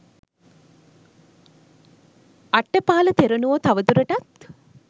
රට්ඨපාල තෙරුණුවෝ තවදුරටත්